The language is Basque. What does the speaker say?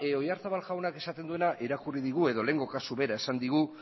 oyarzabal jaunak esaten diguna irakurri digu edo lehengo kasu bera esan digu